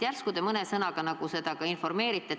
Järsku te mõne sõnaga seda valgustate.